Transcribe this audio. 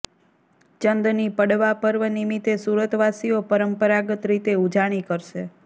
ચંદની પડવા પર્વ નિમિત્તે સુરતવાસીઓ પરંપરાગત રીતે ઉજાણી કરશે